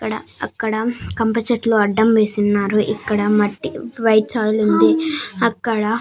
ఇక్కడ అక్కడ కంప చెట్లు అడ్డం వేసున్నారు ఇక్కడ మట్టి వైట్ సాయిల్ ఉంది. అక్కడ --